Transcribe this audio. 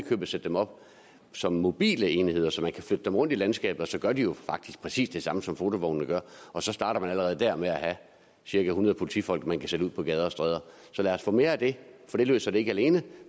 købet sætte dem op som mobile enheder så man kan flytte dem rundt i landskabet og så gør de jo faktisk præcis det samme som fotovognene gør og så starter man allerede der med at have cirka hundrede politifolk man kan sætte ud på gader og stræder så lad os få mere af det det løser det ikke alene